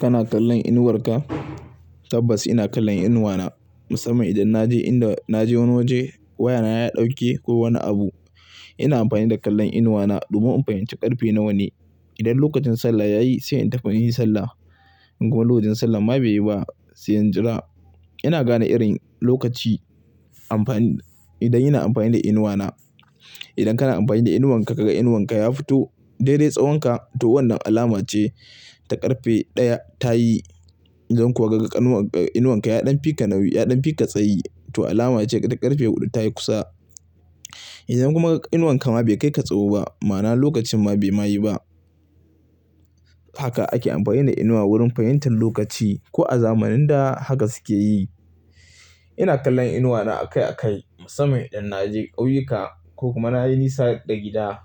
Kana kallon inuwar ka? Tabbas, ina kallon inuwa na, musamman idan na je inda na je wani waje, wayana ya ɗauke ko wani abu. Ina amfani da kallan inuwa na, domin in fahimci ƙarfe nawa ne. Idan lokacin sallah yayi se in tafi, yi sallah. In kuma lokacin sallah ma be yi ba, se in jira. Ina gane: irin, lokaci, amfani, idan ina amfani da inuwa na. Idan kana amfani da inuwan ka kaga inuwan ka ya fito, daide tsawonka to wannan alama ce ta ƙarfe ɗaya ta yi. Idan kuwa ka ga, inuwan ka ya ɗan fi ka nauyi, ya ɗan fi ka tsayi, to alama ce ta ƙarfe huɗu ta yi kusa. Idan kuma, inuwan ka ma bai kai ka tsowo ba ma'ana lokacin ma bai ma yi ba. Haka ake amfani da inuwa wurin fahimtar lokaci, ko a zamanin da haka suke yi. Ina kallan inuwa na akai-akai, musamman idan na je ƙauyika, ko kuma na yi nisa da gida.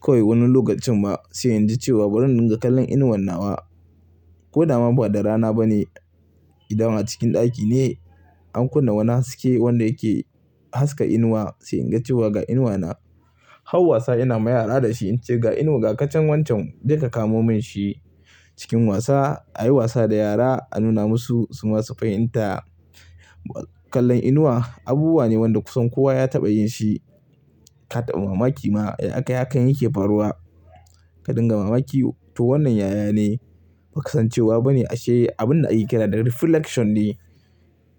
Ko wai wani lokacin ma, se in ji cewa bari in dinga kallon inuwan nawa. Ko dama ba da rana ba ne, idan a cikin ɗaki ne, an kunna wani haske wanda yake, haska inuwa, sai in ga cewa ga inuwa na. Hau wasa ina ma yara da shi in ce, "Ga inuwa ga tacen wancan, je ka kamo min shi." Cikin wasa, ayi wasa da yara a nuna musu su ma su fahimta. Kallon inuwa abubuwa ne wanda kusan kowa ya taɓa yin shi. Ka taba mamaki ma, ya akai hakan yake faruwa. Ka dinga mamaki, to wannan yaya ne, ba kasancewa ba ne ashe abin da ake kira da reflection ne.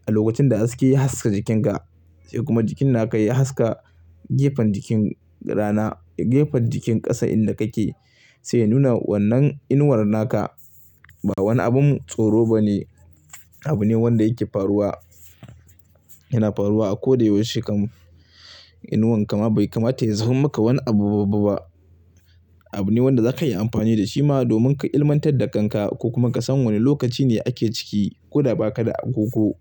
A lokacin da haske ya haska jikinka, se kuma jikin na ka ya haska, gefen jikin rana, gefen jikin ƙasa inda kake se ya nuna wannan inuwar na ka. Ba wani abun tsoro ba ne, abu ne wanda yake faruwa. Yana faruwa a ko da yaushe kam. Inuwan kama bai kamata ya zama maka wani abu babba ba. Abu ne wanda za ka iya amfani da shi ma domin ka ilimantad da kanka, ko kuma ka san wane lokaci ne ake ciki, ko da ba ka da agogo.